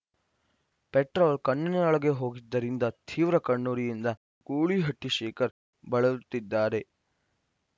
petrol ಕಣ್ಣಿನೊಳಗೆ ಹೋಗಿದ್ದರಿಂದ ತೀವ್ರ ಕಣ್ಣುರಿಯಿಂದ ಗೂಳಿಹಟ್ಟಿಶೇಖರ್‌ ಬಳಲುತ್ತಿದ್ದಾರೆ